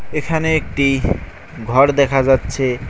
এখানে একটি ঘর দেখা যাচ্ছে।